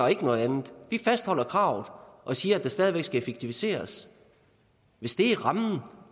ikke noget andet vi fastholder kravet og siger at der stadig væk skal effektiviseres hvis det er rammen